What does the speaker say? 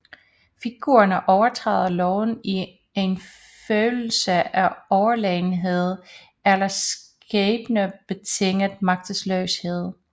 Figurerne overtræder loven i en følelse af overlegenhed eller skæbnebetinget magtesløshed